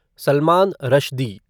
Salman Rushdie